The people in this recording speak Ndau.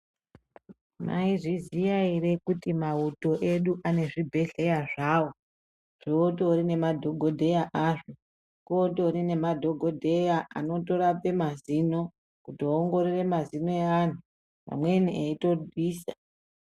Maizviziya ere kuti mauto edu anezvibhedhlera zvawo zvinotori nemadhokodheya azvo kotori nemadhokodheya anotorape mazino kuoongorore mazino eanhu amweni eitobvisa.